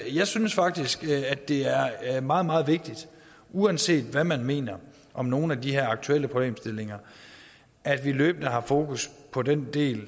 jeg synes faktisk at det er er meget meget vigtigt uanset hvad man mener om nogen af de her aktuelle problemstillinger at vi løbende har fokus på den del